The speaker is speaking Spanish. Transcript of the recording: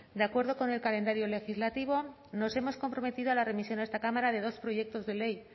de acuerdo con el calendario legislativo nos hemos comprometido a la remisión a esta cámara de dos proyectos de ley